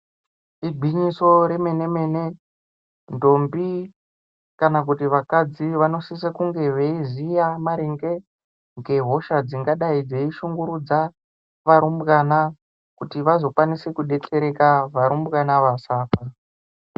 Igwinyiso remene mene ndombi kana vakadzi vanosisa kunge veiziva maringe ngehosha dzingadai dzeishungurudza varumbwana kuti vakwanise kuetsereka kuti varumbwana vasafa